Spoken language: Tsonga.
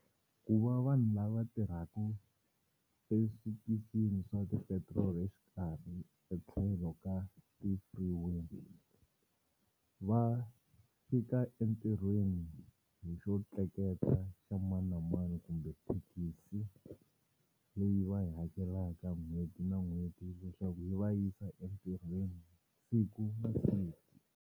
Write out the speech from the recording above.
Ku va vanhu lava tirhaku eswitichini swa ti petiroli exikarhi etlhelo ka ti-freeway va fika entirhweni hi xo tleketla xa mani na mani kumbe thekisi leyi va yi hakelaka n'hweti na n'hweti leswaku yi va yisa entirhweni siku na siku.